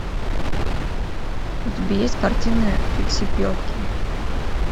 у тебя есть картины фиксипелки